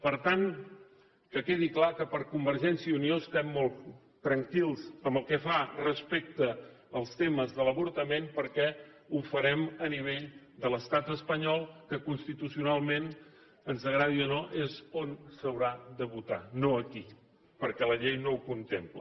per tant que quedi clar que convergència i unió estem molt tranquils respecte als temes de l’avortament perquè ho farem a nivell de l’estat espanyol que constitucionalment ens agradi o no és on s’haurà de votar no aquí perquè la llei no ho contempla